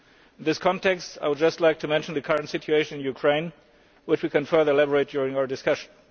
In this context, I would just like to mention the current situation in Ukraine, which we can further elaborate on during our discussion.